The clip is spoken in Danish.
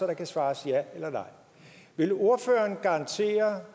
der kan svares ja eller nej vil ordføreren garantere